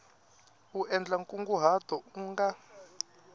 u endla nkunguhato u nga